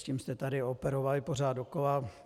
S tím jste tady operovali pořád dokola.